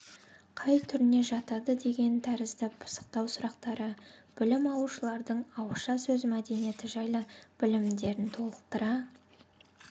қай түріне жатады деген тәрізді пысықтау сұрақтары білім алушылардың ауызша сөз мәдениеті жайлы білімдерін толықтыра